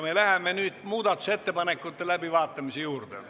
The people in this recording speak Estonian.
Me läheme muudatusettepanekute läbivaatamise juurde.